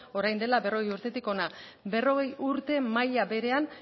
orain dela berrogei urtetik hona berrogei urte maila berean